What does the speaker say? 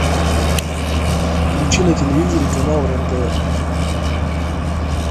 включи на телевизоре канал рен тв